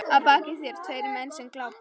Að baki þér tveir menn sem glápa.